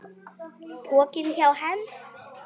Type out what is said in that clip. Pokinn hjá Hend